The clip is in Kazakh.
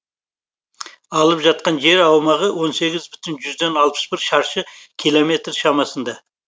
алып жатқан жер аумағы он сегіз бүтін жүзден алпыс бір шаршы километр шамасында